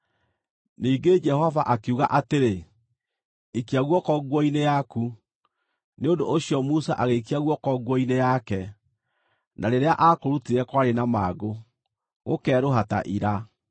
Ningĩ Jehova akiuga atĩrĩ, “Ikia guoko nguo-inĩ yaku.” Nĩ ũndũ ũcio Musa agĩikia guoko nguo-inĩ yake, na rĩrĩa aakũrutire kwarĩ na mangũ, gũkeerũha ta ira.